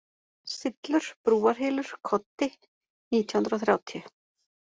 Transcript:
Syllur, Brúarhylur, Koddi, 1930